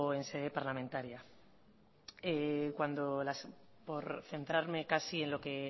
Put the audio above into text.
en sede parlamentaria cuando por centrarme casi en lo que